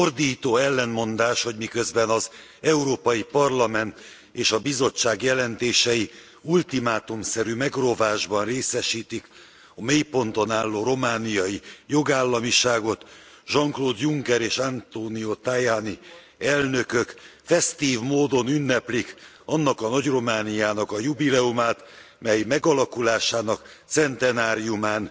Ordító ellentmondás, hogy miközben az Európai Parlament és a Bizottság jelentései ultimátumszerű megrovásban részesítik a mélyponton álló romániai jogállamiságot, Jean Claude Juncker és Antonio Tajani elnökök fesztív módon ünneplik annak a nagy Romániának a jubileumát, mely megalakulásának centenáriumán